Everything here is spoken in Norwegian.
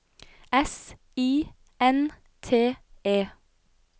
S I N T E